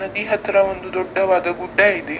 ನದಿ ಹತ್ರ ಒಂದು ದೊಡ್ಡವಾದ ಗುಡ್ಡ ಇದೆ .